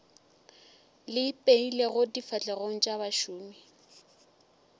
le ipeilego difahlegong tša bašomi